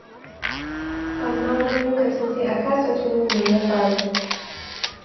Amma wani lokacin sai a kasa tuno me ya faru.